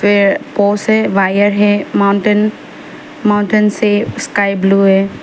ये से वायर है माउंटेन माउंटेन से स्काई ब्लू है।